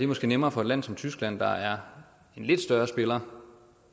måske nemmere for et land som tyskland der er en lidt større spiller